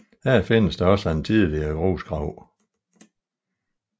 Her findes også en tidligere grusgrav